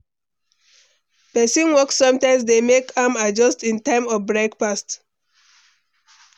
Pesin work sometimes dey make am adjust im time of breakfast.